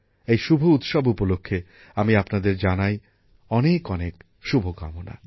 এই শুভ উৎসব উপলক্ষে আমি আপনাদের জানাই অনেক অনেক শুভকামনা